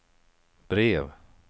brev